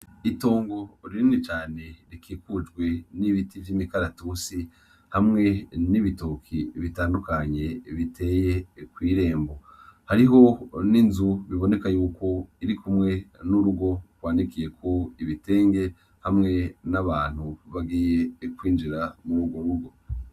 Itongo rinini cane rikikujwe nibiti vyimikaratutsi hamwe nibitoki bitandukanye biteye kwirembo hariho ninzu biboneka yuko irikumwe nurugo rwanikiyeko ibitenge hamwe nabantu bagiye kwinjira murugo rugo